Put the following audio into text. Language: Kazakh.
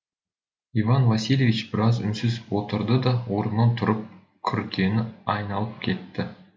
иван васильевич біраз үнсіз отырды да орнынан тұрып күркені айналып кетті